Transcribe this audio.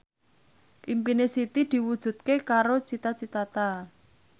impine Siti diwujudke karo Cita Citata